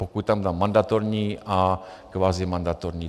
Pokud tam dám mandatorní a kvazimandatorní.